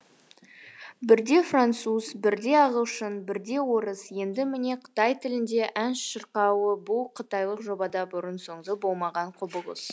бірде француз бірде ағылшын бірде орыс енді міне қытай тілінде ән шырқауы бұл қытайлық жобада бұрын соңды болмаған құбылыс